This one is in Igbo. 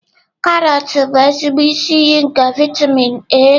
Karọt bụ ezigbo isi iyi nke vitamin A.